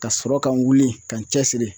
Ka sɔrɔ ka n wuli ka n cɛ siri